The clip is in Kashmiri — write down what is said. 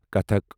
کَتھَک